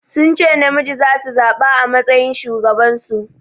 Sun ce namiji zasu zaɓa a matsayin shugaban su.